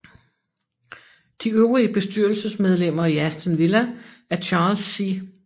De øvrige bestyrelsesmedlemmer i Aston Villa er Charles C